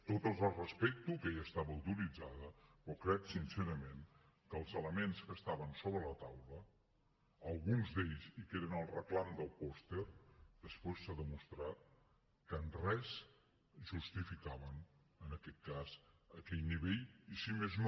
totes les respecto aquella estava autoritzada però crec sincerament que els elements que estaven sobre la taula alguns d’ells i que eren el reclam del pòster després s’ha demostrat que en res justificaven en aquest cas aquell nivell i si més no